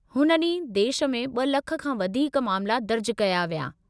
हुन ॾींहुं देश में ब॒ लखि खां वधीक मामला दर्ज कया विया।